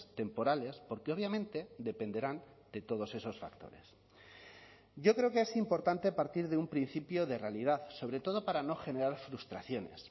temporales porque obviamente dependerán de todos esos factores yo creo que es importante partir de un principio de realidad sobre todo para no generar frustraciones